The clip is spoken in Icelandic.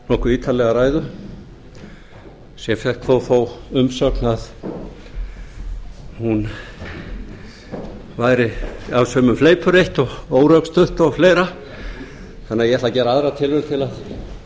nokkuð ítarlega ræðu sem fékk þó þá umsögn að hún væri öll sömul fleipur eitt og órökstudd og fleira þannig að ég ætla að gera aðra tilraun til að skýra